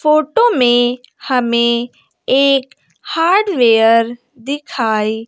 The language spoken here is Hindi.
फोटो में हमें एक हार्डवेयर दिखाई --